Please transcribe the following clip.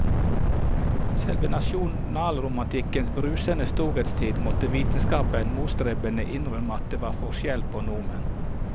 Selv i nasjonalromantikkens brusende storhetstid måtte vitenskapen motstrebende innrømme at det var forskjell på nordmenn.